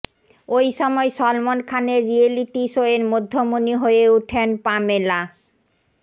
ওই সময় সলমন খানের রিয়েলিটি শোয়ের মধ্যমণি হয়ে ওঠেন পামেলা